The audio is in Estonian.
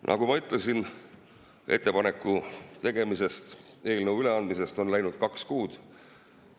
Nagu ma ütlesin, ettepaneku tegemisest, eelnõu üleandmisest on läinud kaks kuud.